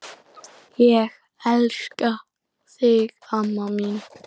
Ég elska þig amma mín.